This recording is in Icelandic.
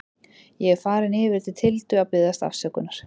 Ég er farinn yfir til Tildu til að biðjast afsökunar.